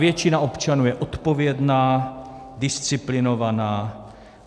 Většina občanů je odpovědná, disciplinovaná.